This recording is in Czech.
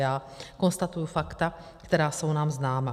Já konstatuji fakta, která jsou nám známa.